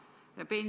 Liina Kersna, palun!